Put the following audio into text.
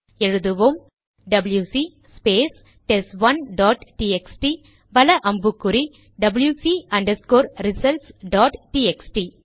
எழுதுவோம் WC space test one dot TXT வல அம்புக்குறி டபில்யுசி ரிசல்ட்ஸ் டாட் டிஎக்ஸ்டி